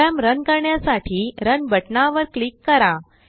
programme run करण्यासाठी Runबटनावर click करा